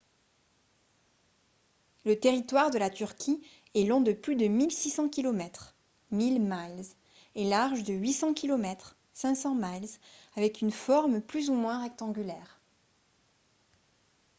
le territoire de la turquie est long de plus de 1600 kilomètres 1000 miles et large de 800 kilomètres 500 miles avec une forme plus ou moins rectangulaire